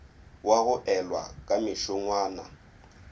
wa go elwa ka mešongwana